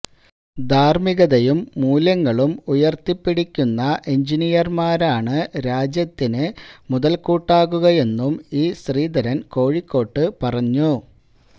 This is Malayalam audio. ധാര്മ്മികതയും മൂല്യങ്ങളും ഉയര്ത്തിപ്പിടിക്കുന്ന എൻജിനീയര്മാരാണ് രാജ്യത്തിന് മുതൽകൂട്ടാകുകയെന്നും ഇ ശ്രീധരൻ കോഴിക്കോട്ട് പറഞ്ഞു